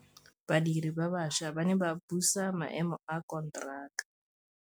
Badiri ba baša ba ne ba buisa maêmô a konteraka.